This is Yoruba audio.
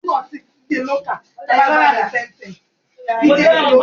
Ǹjẹ́ obìnrin náà yóò kọ́ àwọn ọmọ náà ní Ìwà ìbọ̀wọ̀?